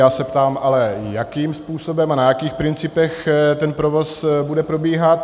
Já se ptám ale, jakým způsobem a na jakých principech ten provoz bude probíhat.